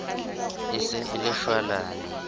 e se e le shwalane